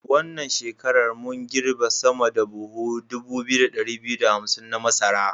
Wannan shekarar mun girbe sama da da buhu 2251 na masara.